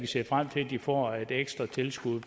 se frem til at de får et ekstra tilskud